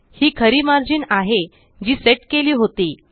हि खरी मार्जिन आहे जी सेट केली होती